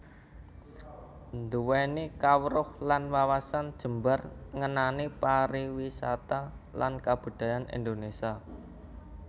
Nduwèni kawruh lan wawasan jembar ngenani pariwisata lan kabudayan Indonésia